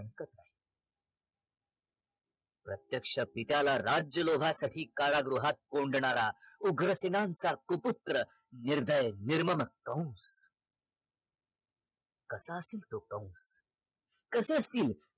प्रत्यक्ष पित्याला राज्य लोभासाठी कारागृहात कोंडणारा उग्रसेनांचा सुपुत्र निर्दय निर्मम कंस कसा असेल तो कंस? कसे असतील